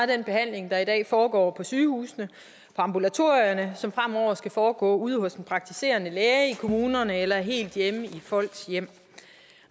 den behandling der i dag foregår på sygehusene og ambulatorierne som fremover skal foregå ude hos den praktiserende læge i kommunerne eller helt hjemme i folks hjem